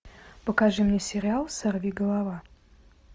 покажи мне сериал сорвиголова